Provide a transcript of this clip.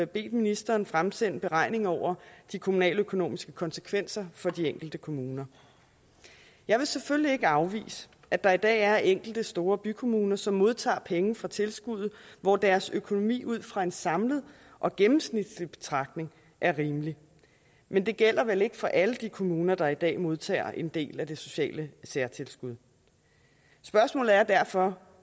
bedt ministeren fremsende beregninger over de kommunaløkonomiske konsekvenser for de enkelte kommuner jeg vil selvfølgelig ikke afvise at der i dag er enkelte store bykommuner som modtager penge fra tilskuddet hvor deres økonomi ud fra en samlet og gennemsnitlig betragtning er rimelig men det gælder vel ikke for alle de kommuner der i dag modtager en del af det sociale særtilskud spørgsmålet er derfor